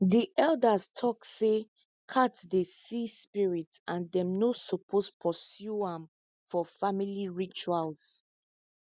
the elders tok say cats dey see spirits and them no suppose pursue am for family rituals